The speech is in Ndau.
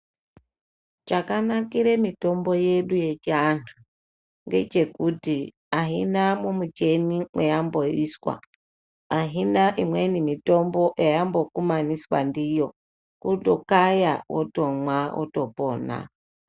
Chakanakire mitombo yedu yechiantu, ngechekuti, aina mumicheni mwayamboiswa, aina imweni mitombo yayambokumaniswa ndiyo. Kutokaya, wotomwa ,wotopona.